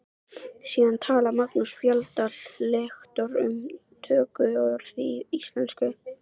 Síðan talar Magnús Fjalldal lektor um tökuorð í íslensku.